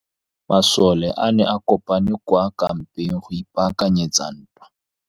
Masole a ne a kopane kwa kampeng go ipaakanyetsa ntwa.